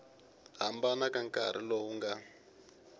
hambana ka nkarhi lowu nga